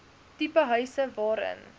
tipe huise waarin